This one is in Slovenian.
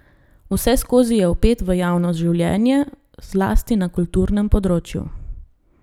Vseskozi je vpet v javno življenje, zlasti na kulturnem področju.